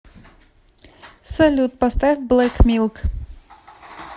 салют поставь блэк милк